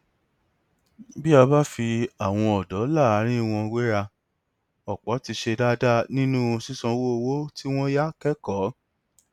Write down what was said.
bí a bá fi àwọn ọdọ láàárín wọn wéra ọpọ ti ṣe dáadáa nínú sísanwó owó tí wọn yá kẹkọọ